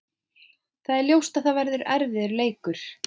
Það er ljóst að það verður erfiður leikur.